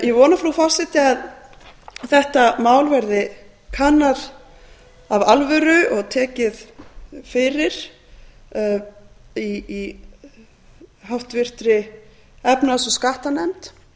ég vona frú forseti að þetta mál verði kannað af alvöru og tekið fyrir í háttvirtri efnahags og skattanefnd